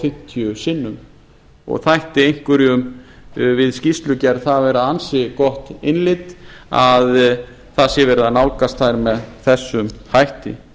fimmtíu sinnum og þætti einhverjum við skýrslugerð það vera ansi gott innlit að það sé verið að nálgast þær með þessum hætti